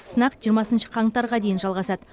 сынақ жиырмасыншы қаңтарға дейін жалғасады